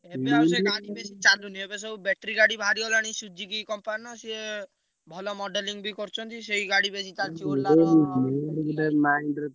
ଏବେ ଆଉ ସେଇ ଗାଡି ବେଶୀ ଚାଲୁନି। ଏବେ ସବୁ battery ଗାଡି ବାହାରିଗଲାଣି Suzuki company ର ସିଏ ଭଲ modeling ବି କରୁଛନ୍ତି ସେଇ ଗାଡି ବେଶୀ ଚାଲୁଛି ।